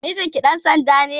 Mijinki ɗan sanda ne?